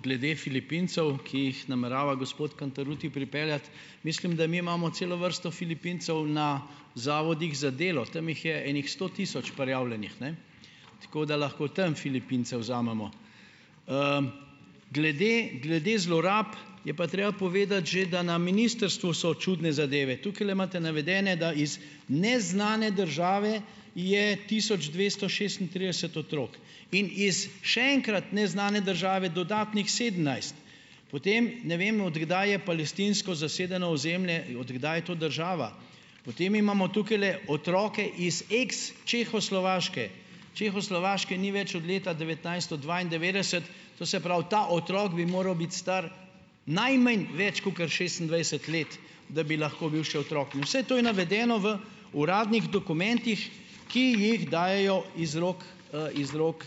Glede Filipincev, ki jih namerava gospod Cantarutti pripeljati, mislim, da mi imamo celo vrsto Filipincev na zavodih za delo. Tam jih je ene sto tisoč prijavljenih. Ne. Tako, da lahko tam Filipince vzamemo. Glede glede zlorab je pa treba povedati že, da na ministrstvu so čudne zadeve. Tukajle imate navedene, da iz neznane države je tisoč dvesto šestintrideset otrok in iz še enkrat neznane države dodatnih sedemnajst. Potem ne vem, od kdaj je palestinsko zasedeno ozemlje, od kdaj je to država. Potem imamo tukajle otroke iz ex Čehoslovaške. Čehoslovaške ni več od leta devetnajststo dvaindevetdeset, to se pravi, ta otrok bi moral biti star najmanj več kakor šestindvajset let, da bi lahko bil še otrok. In vse to je navedeno v uradnih dokumentih, ki jih dajejo iz rok, iz rok,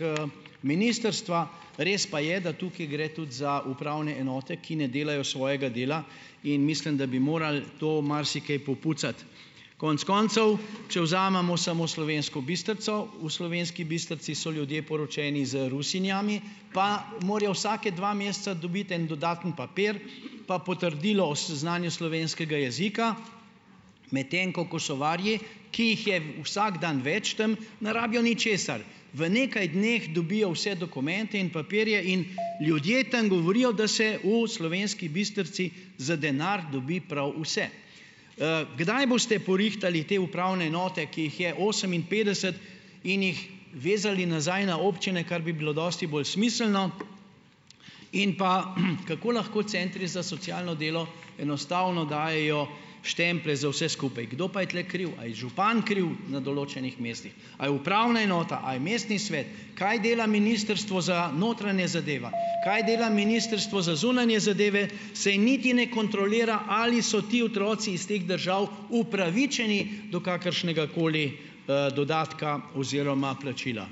ministrstva. Res pa je, da tukaj gre tudi za upravne enote, ki ne delajo svojega dela. In mislim, da bi morali to marsikaj popucati. Konec koncev, če vzamemo samo Slovensko Bistrico, v Slovenski Bistrici so ljudje poročeni z Rusinjami, pa morajo vsake dva meseca dobiti en dodaten papir pa potrdilo o znanju slovenskega jezika. Medtem ko Kosovarji, ki jih je vsak dan več tem, ne rabijo ničesar. V nekaj dneh dobijo vse dokumente in papirje in ljudje tam govorijo, da se v Slovenski Bistrici za denar dobi prav vse. Kdaj boste porihtali te upravne enote, ki jih je oseminpetdeset, in jih vezali nazaj na občine, kar bi bilo dosti bolj smiselno. In pa, kako lahko centri za socialno delo enostavno dajejo štemplje za vse skupaj. Kdo pa je tule kriv? A je župan kriv na določenih mestih a je upravna enota a je mestni svet? Kaj dela Ministrstvo za notranje zadeva ? Kaj dela Ministrstvo za zunanje zadeve? Saj niti ne kontrolira, ali so ti otroci iz teh držav upravičeni do kakršnegakoli, dodatka oziroma plačila.